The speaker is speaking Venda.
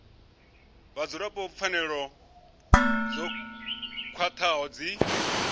vhadzulapo pfanelo dzo khwathaho dzi